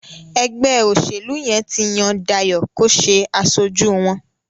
ègbé òṣèlú yén tí Yàn Dayo kò ṣe aṣojú wón.